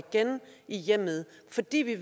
hjemmet fordi vi